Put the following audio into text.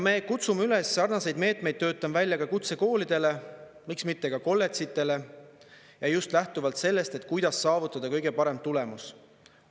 Me kutsume üles sarnaseid meetmeid töötama välja ka kutsekoolidele, miks mitte ka kolledžitele, ja just lähtuvalt sellest, kuidas saavutada kõige parem tulemus.